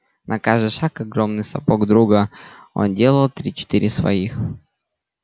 на каждый шаг огромных сапог друга он делал три-четыре своих